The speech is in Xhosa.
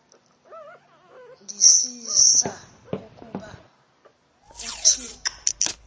ndisisa ukuba uthixo